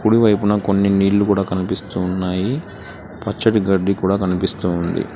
కుడివైపున కొన్ని నీళ్లు కూడా కనిపిస్తూ ఉన్నాయి పచ్చటి గడ్డి కూడా కనిపిస్తూ ఉంది.